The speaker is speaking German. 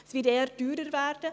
Es wird eher teurer werden.